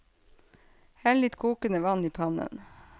Hell litt kokende vann i pannen.